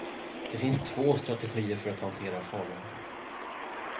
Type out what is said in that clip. Det finns två strategier för att hantera fara.